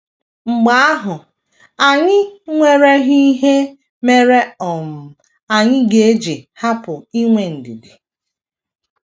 Mgbe ahụ, ànyị nwereghi ihe mere um anyị ga - eji hapụ inwe ndidi?